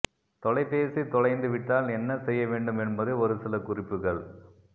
தொலைபேசி தொலைந்து விட்டால் என்ன செய்ய வேண்டும் என்பதை ஒரு சில குறிப்புகள்